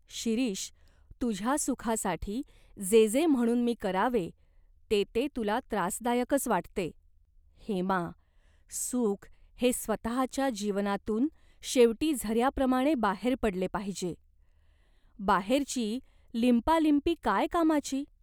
" "शिरीष, तुझ्या सुखासाठी जे जे म्हणून मी करावे ते ते तुला त्रासदायकच वाटते." "हेमा, सुख हे स्वतःच्या जीवनातून शेवटी झऱ्याप्रमाणे बाहेर पडले पाहिजे. बाहेरची लिंपालिंपी काय कामाची ?